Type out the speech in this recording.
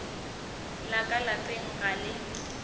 la ka lapeng ga le